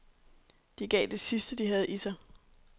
De gav det sidste, de havde i sig.